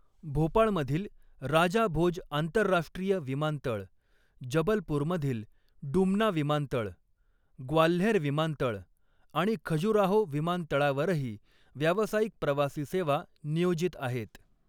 भोपाळमधील राजा भोज आंतरराष्ट्रीय विमानतळ, जबलपूरमधील डुमना विमानतळ, ग्वाल्हेर विमानतळ आणि खजुराहो विमानतळावरही व्यावसायिक प्रवासी सेवा नियोजित आहेत.